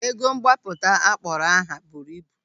Ego mgbapụta akpọrọ ha buru ibu.